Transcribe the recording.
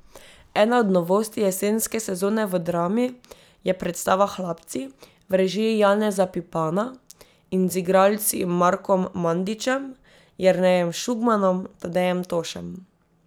Ena od novosti jesenske sezone v Drami je predstava Hlapci v režiji Janeza Pipana in z igralci Markom Mandićem, Jernejem Šugmanom, Tadejem Tošem ...